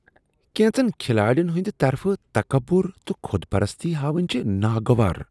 کینژن کھلاڑین ہند طرفہٕ تکبر تہٕ خود پرستی ہاوٕنۍ چھ ناگوار۔